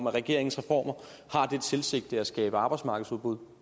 at regeringens reformer har det sigte at skabe arbejdsmarkedsudbud